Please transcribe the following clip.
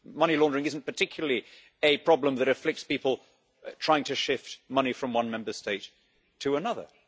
Money laundering isn't particularly a problem that afflicts people trying to shift money from one Member State to another.